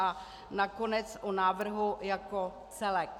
A nakonec o návrhu jako celku.